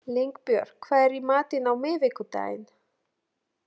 Línbjörg, hvað er í matinn á miðvikudaginn?